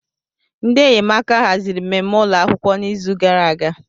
Ndị enyemaka haziri mmemme ụlọ akwụkwọ n'izu gara aga.